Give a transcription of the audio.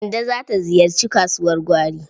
Kande za ta ziyarci kasuwar gwari.